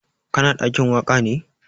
Ka na ɗakin waƙa ne?